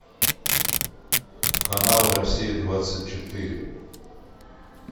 канал россия двадцать четыре